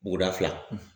Buguda fila